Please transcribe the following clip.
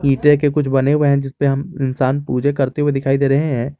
ईंटे के कुछ बने हुए हैं जिस पे हम इंसान पूजे करते हुए दिखाई दे रहे हैं।